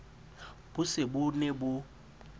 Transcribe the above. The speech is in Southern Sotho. bo se bo ne bo